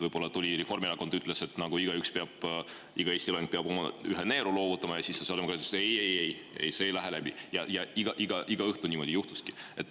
Võib-olla Reformierakond tuli ja ütles, et igaüks, iga Eesti elanik peab oma ühe neeru loovutama, ja siis sotsiaaldemokraadid ütlesid, et ei, ei, ei, see ei lähe läbi, ja iga õhtu niimoodi juhtuski.